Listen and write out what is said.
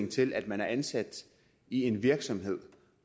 til at man er ansat i en virksomhed